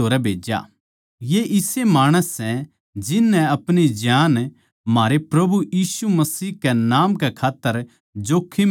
ये इसे माणस सै जिन नै अपणी ज्यांन म्हारै प्रभु यीशु मसीह कै नाम कै खात्तर जोख्खम म्ह गेरी सै